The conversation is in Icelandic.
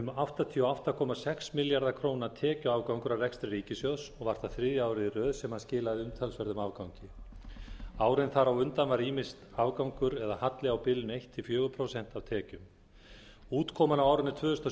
áttatíu og átta komma sex milljarða króna tekjuafgangur af rekstri ríkissjóðs og var það þriðja árið í röð sem hann skilaði umtalsverðum afgangi árin þar á undan var ýmist afgangur eða halli á bilinu eitt til fjögur prósent af tekjum útkoman á árinu tvö þúsund og